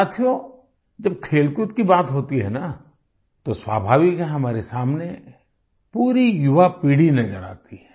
साथियो जब खेलकूद की बात होती है न तो स्वाभाविक है हमारे सामने पूरी युवा पीढ़ी नजर आती है